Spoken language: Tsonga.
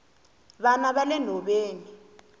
vana vale nhoveni